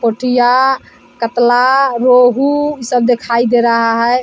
पोथियाँ कतला रोहू सब दिखाई दे रहा है ।